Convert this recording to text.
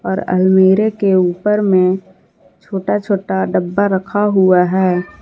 और अलमीरे के ऊपर में छोटा छोटा डब्बा रखा हुआ है।